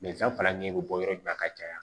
faralen bɛ bɔ yɔrɔ min na ka caya